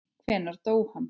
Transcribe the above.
Hvenær dó hann?